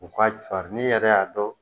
U ka cuari n'i yɛrɛ y'a dɔn